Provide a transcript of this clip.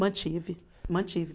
Mantive, mantive.